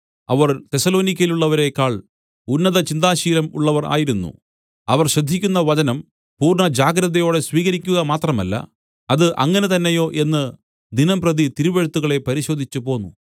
അവർ തെസ്സലോനിക്യയിലുള്ളവരേക്കാൾ ഉന്നത ചിന്താശീലം ഉള്ളവർ ആയിരുന്നു അവർ ശ്രദ്ധിക്കുന്ന വചനം പൂർണ്ണജാഗ്രതയോടെ സ്വീകരിക്കുക മാത്രമല്ല അത് അങ്ങനെ തന്നെയോ എന്ന് ദിനംപ്രതി തിരുവെഴുത്തുകളെ പരിശോധിച്ചു പോന്നു